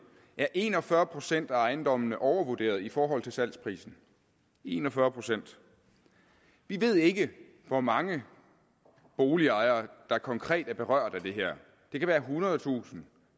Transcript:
er en og fyrre procent af ejendommene overvurderet i forhold til salgsprisen en og fyrre procent vi ved ikke hvor mange boligejere der konkret er berørt af det her det kan være ethundredetusind